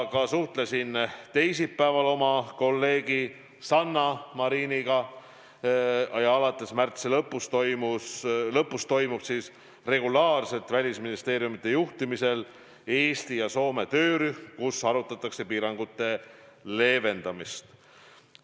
Ma suhtlesin teisipäeval oma kolleegi Sanna Mariniga ja alates märtsi lõpust tegutseb regulaarselt välisministeeriumide juhtimisel Eesti ja Soome töörühm, kus arutatakse piirangute leevendamist.